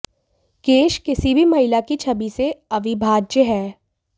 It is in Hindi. केश किसी भी महिला की छवि से अविभाज्य है